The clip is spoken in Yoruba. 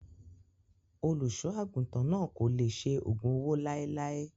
Olùṣọ́ àgùntàn náà kò lè ṣe ògùn owó láéláé.